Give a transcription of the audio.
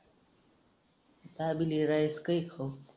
अजून हे rice काय खाऊ?